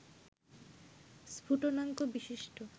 স্ফুটনাঙ্ক বিশিষ্ট